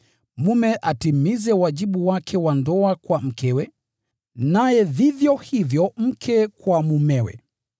Mume atimize wajibu wake wa ndoa kwa mkewe, naye vivyo hivyo mke kwa mumewe.